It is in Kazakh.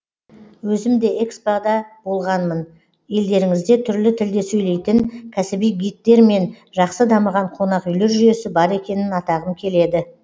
өзім де экспо да болғанмын елдеріңізде түрлі тілде сөйлейтін кәсіби гидтер мен жақсы дамыған қонақүйлер жүйесі бар екенін атағым келеді